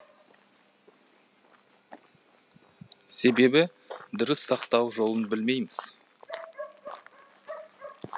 себебі дұрыс сақтау жолын білмейміз